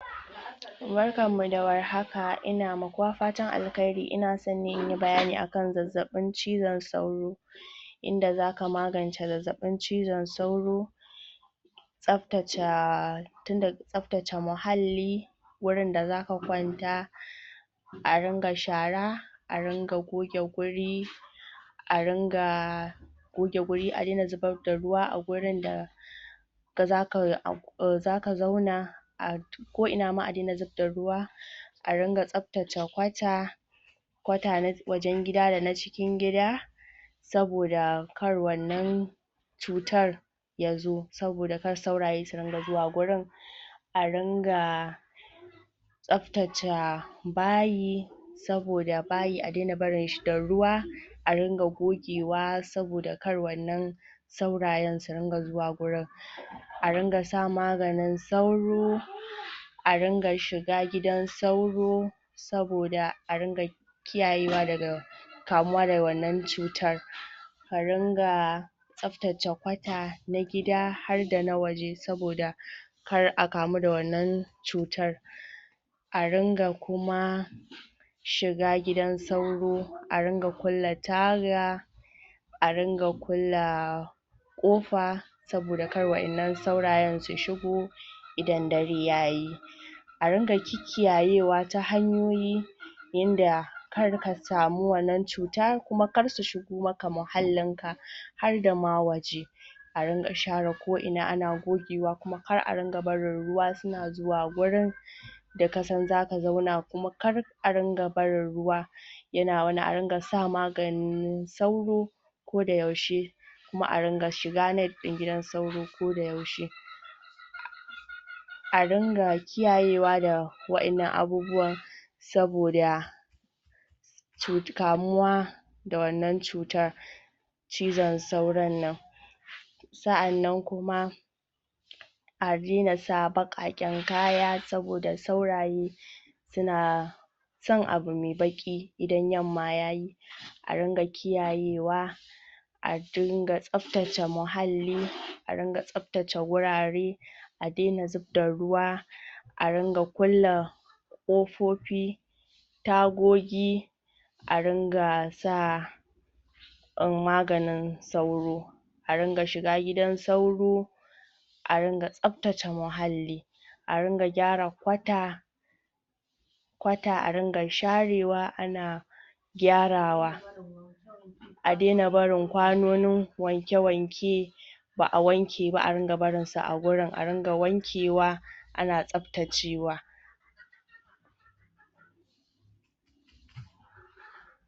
Barkanmu da warhaka, ina wa kowa fatan alheri, ina so inyi bayani ne akan zazzaɓin cizon sauro inda zaka magance zazzaɓin cizon sauro tsaftaca tun daga tsaftace muhalli wurin da zaka kwanta a ringa shara a ringa goge wuri a ringa goge wuri a dai na zubar da ruwa a wurin da da zakai am zaka zauna a ko ina ma a daina zubda ruwa a dunga tsaftace kwata kwata na wajan gida, dana cikin gida saboda kar wannan cutar yazo, saboda kar sauraye su dunga zuwa wurin a ringa tsaftaca bayi saboda bayi a daina barin shi da ruwa a ringa gogewa saboda kar wannan saurayen su riga zuwa wurin a dunga sa maganin sauro a dunga shiga gidan sauraro saboda a ringa kiyayewa daga kamuwa daga wannan cutar a ringa tsaftace kwata na gida har waje saboda kar a kamu da wannan cutar a ringa kuma shiga gidan sauro, a ringa kulle taga a ringa kulla ƙofa saboda kar wa'yan nan saurayen su shigo idan dare yayi a ringa kikkiyayewa ta hanyoyi yadda karka samu wannan cutar, kuma kar su shigo maka muhallin ka har dama wace a ringa share ko'ina ana gogewa kuma kar a dunga barin ruwa suna zuwa gurin da kasan zaka zauna kuma kar a dunga barin ruwa yana wani a ringa sa maganin sauro ko da yaushe kuma a ringa shiga net din gidan sauro koda yaushe a ringa kiyayewa da wa'yan nan abubuwa saboda cut kamuwa da wannan cutar cizon sauron nan sa'a nan kuma a daina sa baƙaƙen kaya saboda sauraye suna son abu mai baƙi idan yamma yayi a ringa kiyayewa a dunga tsaftace muhalli, a ringa tsftace wurare a daina zubda ruwa a ringa kulla ƙofofi tagogi a ringa sa maganin sauro a ringa shiga gidan sauro a ringa tsaftace muhalli a ringa gyara kwata kwata a ringa sharewa ana ana gyarawa a daina barin kwanonin wake-wake ba'a wanke ba a ringa barin su a wurin, a ringa wanke wa ana tsaftacewa